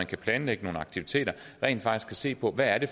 kan planlægge nogle aktiviteter og rent faktisk se på hvad det